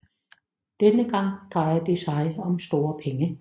Denne gang drejer det sig om store penge